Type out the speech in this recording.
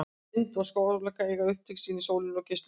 Vind- og sólarorka eiga upptök sín í sólinni og geislum hennar.